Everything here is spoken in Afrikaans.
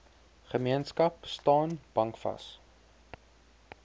gemeenskap staan bankvas